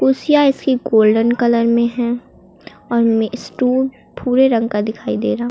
कुर्सियां इसकी golden colour में है और मे स्टू भूरे रंग का दिखाई दे रहा--